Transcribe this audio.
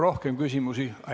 Rohkem küsimusi ...